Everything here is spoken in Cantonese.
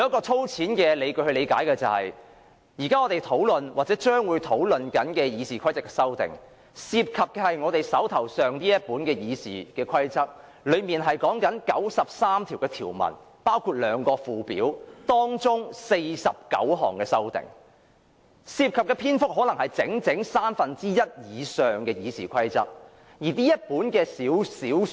粗淺地理解，我們現正討論或將會討論的《議事規則》的修訂，涉及我們手上這本《議事規則》，當中包括93項條文和兩個附表，而這49項修訂涉及的篇幅，可能佔整份《議事規則》的三分之一以上。